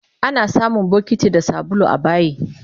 Anasamun bokiti da sabulu abayi